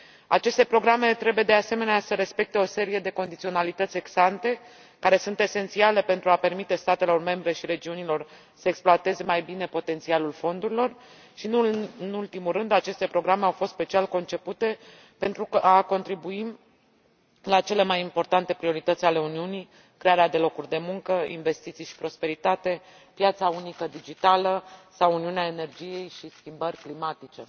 Aceste programe trebuie, de asemenea, să respecte o serie de condiționalități ex ante, care sunt esențiale pentru a permite statelor membre și regiunilor să exploateze mai bine potențialul fondurilor și, nu în ultimul rând, aceste programe au fost special concepute pentru a contribui la cele mai importante priorități ale Uniunii crearea de locuri de muncă, investiții și prosperitate, piața unică digitală sau uniunea energetică și schimbările climatice.